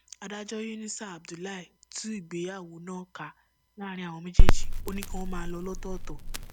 adájọ yunusá abdullahi tú ìgbéyàwó náà ká láàrin àwọn méjèèjì ó ní kí wọn ó máa lọ lọtọọtọ